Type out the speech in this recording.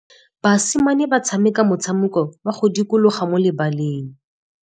Basimane ba tshameka motshameko wa modikologô mo lebaleng.